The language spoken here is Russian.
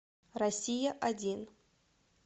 россия один